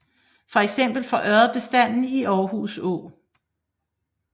Feks for ørred bestanden i Aarhus Å